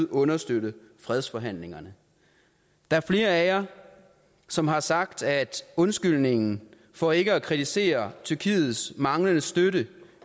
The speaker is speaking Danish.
understøtte fredsforhandlingerne der er flere af jer som har sagt at undskyldningen for ikke at kritisere tyrkiets manglende støtte